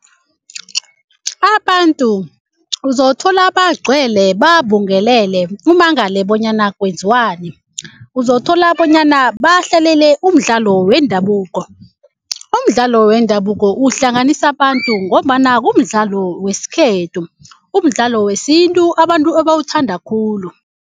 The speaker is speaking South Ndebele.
Abantu uzothola bagcwele babungelele umangele bonyana kwenziwani. Uzothola bonyana bahlalele mdlalo wendabuko. Umdlalo wendabuko uhlanganisa abantu ngombana kumdlalo wesikhethu umdlalo wesintu abantu ebawuthanda khulu.